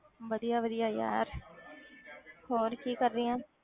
ਵਧੀਆ ਵਧੀਆ ਯਾਰ ਹੋਰ ਕੀ ਕਰ ਰਹੀ ਆਂ,